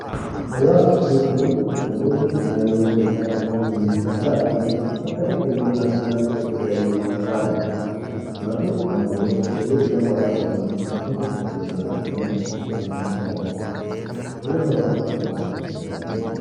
Hawaasa jechuun namoonni hariiroo dhiigaa osoo waliin hin qabaatiin bakka tokko yookaan naannoo tokko waliin jiraatanidha. Maatiin ammoo hariiroo dhiigaa qabaatanii bakka tokko yookaan mana tokko waliin jiraatanidha. Hariiroon hawaasaa fi maatii maalii?